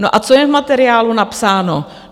No a co je v materiálu napsáno?